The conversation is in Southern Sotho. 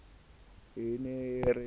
e ne e re ke